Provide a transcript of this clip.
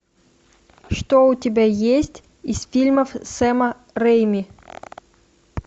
что у тебя есть из фильмов сэма рэйми